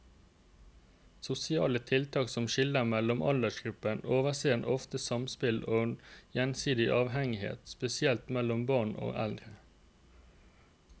Sosiale tiltak som skiller mellom aldersgrupper overser ofte samspill og gjensidig avhengighet, spesielt mellom barn og eldre.